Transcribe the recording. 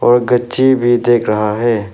और कच्ची भी देख रहा है।